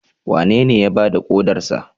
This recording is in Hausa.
Wanene ya ba da kodarsa?